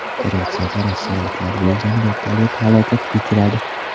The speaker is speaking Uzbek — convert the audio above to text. Gretsiyada rossiyaliklar bo‘lgan vertolyot halokatga uchradi.